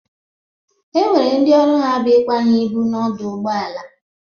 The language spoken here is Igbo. E nwere ndị ọrụ ha bụ ịkwanye ịbụ n'ọdụ ụgbọ ala.